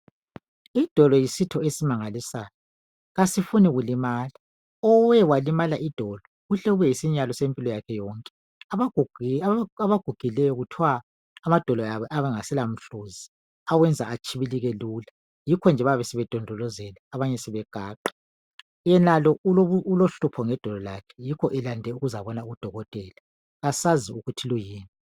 Idolo yisitho esimangalisayo kasifuni kulimala. Owe walimala idolo kuhle kube yisinyalo sempilo yakhe yonke. Abagugileyo kuthiwa amadolo abo ayabe engaselamhluzi okwenza atshibilike lula yikho nje bayabe sebedondolozela abanye sebegaqa. Yenalo ulohlupho ngedolo lakhe yikho eze ukuzebona udokotela. Asazi ukuthi kuyini.